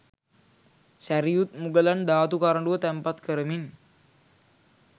සැරියුත්මුගලන් ධාතු කරඬුව තැන්පත් කරමින්